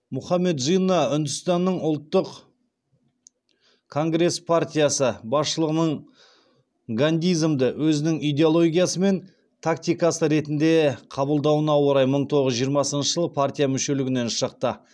мұаммед джинна үндістанның ұлттық конгресс партиясы басшылығының гандизмді өзінің идеологиясы мен тактикасы ретінде қабылдауына орай мың тоғыз жүз жиырмасыншы жылы партия мүшелігінен шықты